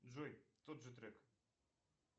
джой тот же трек